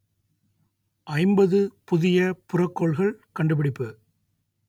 ஐம்பது புதிய புறக்கோள்கள் கண்டுபிடிப்பு